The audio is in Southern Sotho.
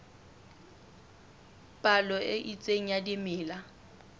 palo e itseng ya dimela